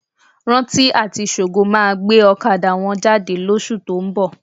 Rántí àti Ṣògo máa gbé ọ̀kadà wọn jáde lóṣù tó ń bọ̀.